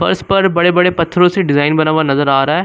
और उसपर बड़े बड़े पत्थरों से डिजाइन बना हुआ नजर आ रहा है।